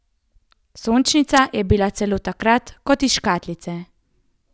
Sončnica pa je bila celo takrat kot iz škatlice.